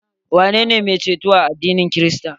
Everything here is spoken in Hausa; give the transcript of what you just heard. Waye ne mai ceto a addinin krista?